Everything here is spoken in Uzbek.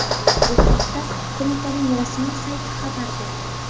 Bu haqda qo‘mitaning rasmiy sayti xabar berdi .